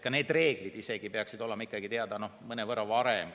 Ka need reeglid peaksid olema ikkagi teada mõnevõrra varem.